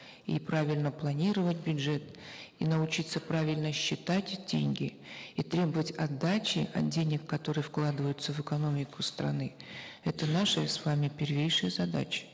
и правильно планировать бюджет и научиться правильно считать деньги и требовать отдачи от денег которые вкладываются в экономику страны это наши с вами первейшие задачи